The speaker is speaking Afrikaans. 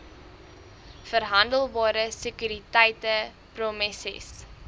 verhandelbare sekuriteite promesses